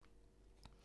DR1